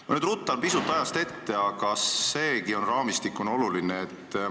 Ma nüüd ruttan pisut ajast ette, aga seegi teema on raamistikuna oluline.